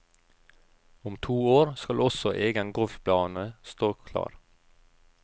Om to år skal også egen golfbane stå klar.